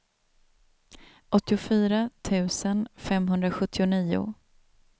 åttiofyra tusen femhundrasjuttionio